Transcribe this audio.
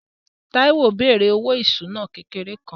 Táíwò bẹ̀rẹ̀ òwò ìṣúná kékeré kan